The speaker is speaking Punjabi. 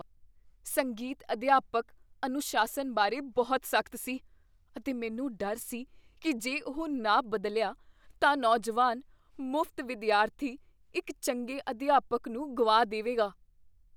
ਸੰਗੀਤ ਅਧਿਆਪਕ ਅਨੁਸ਼ਾਸਨ ਬਾਰੇ ਬਹੁਤ ਸਖਤ ਸੀ, ਅਤੇ ਮੈਨੂੰ ਡਰ ਸੀ ਕੀ ਜੇ ਉਹ ਨਾ ਬਦਲਿਆ ਤਾਂ ਨੌਜਵਾਨ ਮੁਫਤ ਵਿਦਿਆਰਥੀ ਇੱਕ ਚੰਗੇ ਅਧਿਆਪਕ ਨੂੰ ਗੁਆ ਦੇਵੇਗਾ।